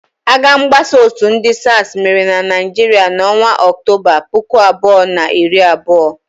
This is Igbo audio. Agha mgbasa òtù ndị SARS mere na Naịjirịa n'ọnwa Ọktoba, puku abụọ na iri abụọ.